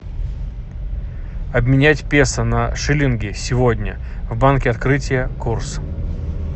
обменять песо на шиллинги сегодня в банке открытие курс